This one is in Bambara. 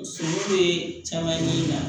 Bɛ caman ɲini